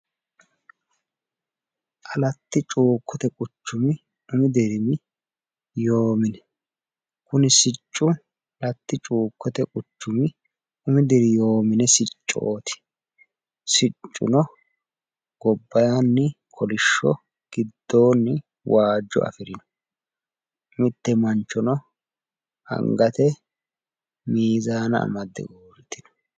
Alatti cuukkote quchumi umi dirimi yoo mine kuni siccu alatti cuukkote quchumi umi dirimi yoo mine siccooti siccuno gobaanni kolisho gidoonni waajo afirino mitte manchono angate miizaanna amaddeuurite no.